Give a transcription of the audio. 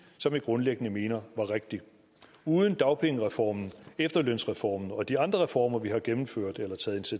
som vi grundlæggende mener var rigtig uden dagpengereformen efterlønsreformen og de andre reformer vi har gennemført eller taget